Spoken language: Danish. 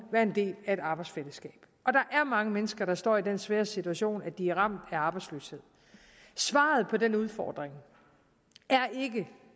være en del af et arbejdsfællesskab og der er mange mennesker der står i den svære situation at de er ramt af arbejdsløshed svaret på den udfordring er